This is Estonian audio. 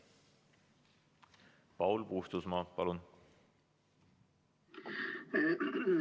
Paul Puustusmaa, palun!